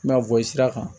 Ma bɔ sira kan